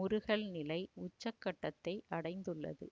முறுகல் நிலை உச்சக்கட்டத்தை அடைந்துள்ளது